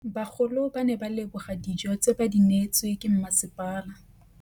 Bagolo ba ne ba leboga dijô tse ba do neêtswe ke masepala.